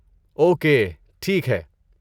Okay, ٹھیک ہے۔